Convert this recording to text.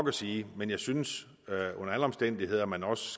at sige men jeg synes under alle omstændigheder at man også